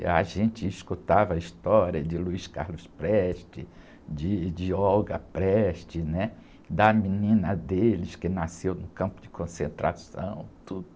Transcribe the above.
E a gente escutava a história de Luiz Carlos Prestes, de, de Olga Prestes, né? Da menina deles que nasceu no campo de concentração, tudo.